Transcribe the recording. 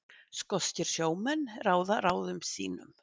Skoskir sjómenn ráða ráðum sínum